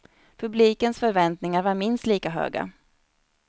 Publikens förväntningar var minst lika höga.